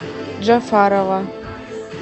джафарова